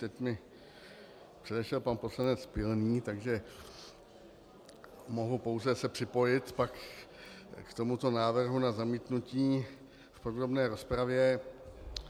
Teď mě předešel pan poslanec Pilný, takže mohu pouze se připojit pak k tomuto návrhu na zamítnutí v podrobné rozpravě.